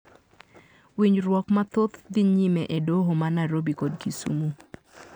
Winjruok mathoth dhi nyime e doho ma Nairobi kod Kisumu.